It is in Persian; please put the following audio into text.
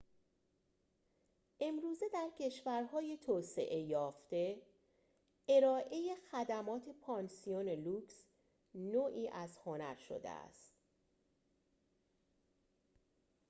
امروزه در کشورهای توسعه یافته ارائه خدمات پانسیون لوکس نوعی از هنر شده است